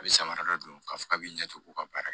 A bɛ samara dɔ don k'a fɔ k'a bɛ ɲɛ cogo o ka baara